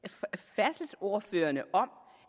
færdselsordførerne om